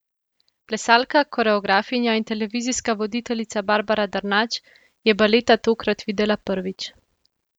Plesalka, koreografinja in televizijska voditeljica Barbra Drnač je baleta tokrat videla prvič.